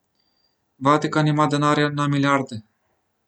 Vatikan ima denarja na milijarde .